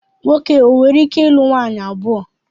Nwoke o nwereike ilu nwaanyị abụọ?